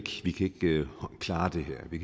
klare det her at vi